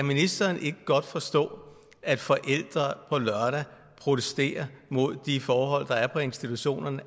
ministeren kan forstå at forældre på lørdag protesterer mod de forhold der er på institutionerne